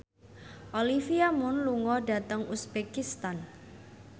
Olivia Munn lunga dhateng uzbekistan